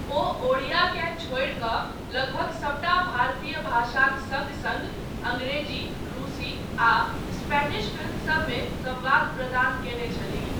ओ ओडियाकेँ छोड़ि कऽ लगभग सभटा भारतीय भाषासभक सङ्ग सङ्ग अंग्रेजी, रूसी आ स्पेनिश फिल्मसभमे संवाद प्रदान कयने छलीह।